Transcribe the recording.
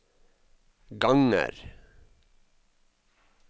ganger